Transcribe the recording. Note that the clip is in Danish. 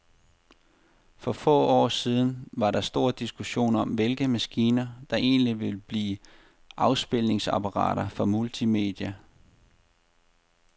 For få år siden var der stor diskussion om, hvilke maskiner, der egentlig ville blive afspilningsapparater for multimedia.